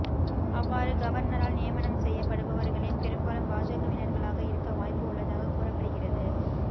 அவ்வாறு கவர்னரால் நியமனம் செய்யப்படுபவர்களில் பெரும்பாலும் பாஜகவினர்களாக இருக்க வாய்ப்பு உள்ளதாக கூறப்படுகிறது